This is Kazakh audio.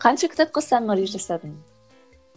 қанша кітапқа саммари жасадың